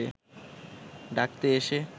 ডাকতে এসে